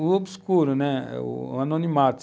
O obscuro, né? o anonimato.